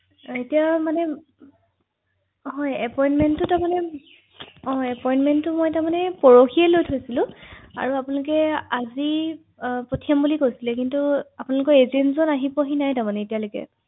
ধন্যবাদ অ হয় জনাওক ৷হয়